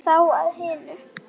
En þá að hinu.